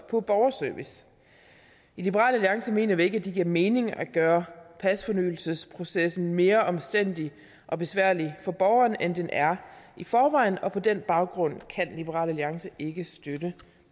på borgerservice i liberal alliance mener vi ikke at det giver mening at gøre pasfornyelsesprocessen mere omstændelig og besværlig for borgerne end den er i forvejen på den baggrund kan liberal alliance ikke støtte